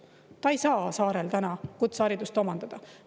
Ta ei saa saarel praegu kutseharidust omandada.